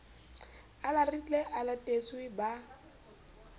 a larile a latetse ba